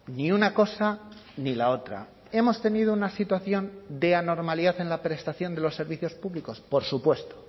ni una cosa ni la otra hemos tenido una situación de anormalidad en la prestación de los servicios públicos por supuesto